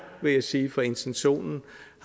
vil jeg sige for intentionen